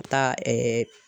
Taa